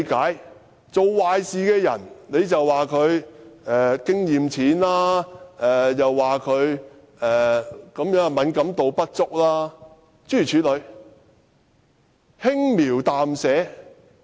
她說做壞事的那人經驗淺，敏感度不足，諸如此類，說得輕描淡寫。